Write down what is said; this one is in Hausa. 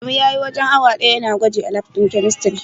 Adamu spent almost an hour testing at the chemistry lab.